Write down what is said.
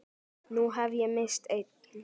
Nú hef ég misst einn.